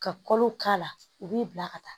Ka kolo k'a la u b'i bila ka taa